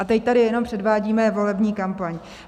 A teď tady jenom předvádíme volební kampaň.